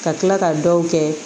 Ka tila ka dɔw kɛ